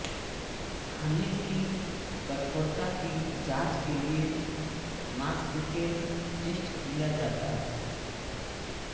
खनिज की कठोरता की जांच के लिए मॉस्केल टेस्ट किया जाता है